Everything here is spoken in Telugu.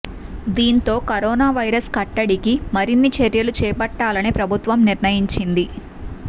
దీంతో కరోనా వైరస్ కట్టడికి మరిన్ని చర్యలు చేపట్టాలని ప్రభుత్వం నిర్ణయించింది